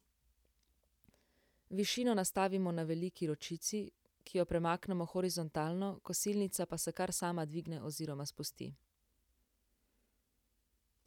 Višino nastavimo na veliki ročici, ki jo premaknemo horizontalno, kosilnica pa se kar sama dvigne oziroma spusti.